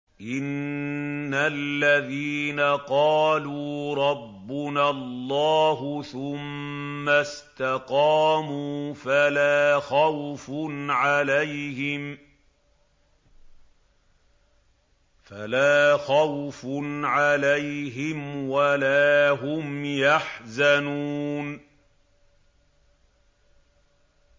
إِنَّ الَّذِينَ قَالُوا رَبُّنَا اللَّهُ ثُمَّ اسْتَقَامُوا فَلَا خَوْفٌ عَلَيْهِمْ وَلَا هُمْ يَحْزَنُونَ